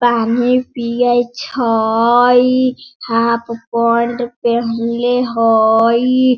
पानी पिय छई हाफ पैंट पहनले हई।